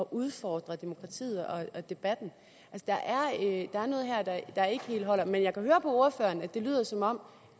udfordre demokratiet og debatten der er noget her der ikke helt holder men jeg kan høre på ordføreren at det lyder som om